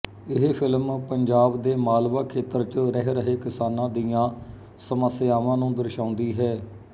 ਇਹ ਫ਼ਿਲਮ ਪੰਜਾਬ ਦੇ ਮਾਲਵਾ ਖੇਤਰ ਚ ਰਹਿ ਰਹੇ ਕਿਸਾਨਾਂ ਦੀਆਂ ਸਮੱਸਿਆਵਾਂ ਨੂੰ ਦਰਸਾਉਂਦੀ ਹੈ